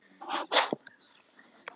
sagði hann og lagðist fram á leiðið.